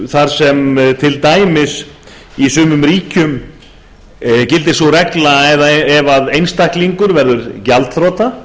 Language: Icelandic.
þar sem til dæmis í sumum ríkjum gildir sú regla að ef einstaklingur verður gjaldþrota